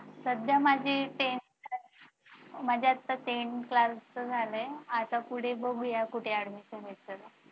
सध्या माझी tenth class माझी आता tenth class चं झालय आता पुढे बघू या कुठे admission घ्यायचं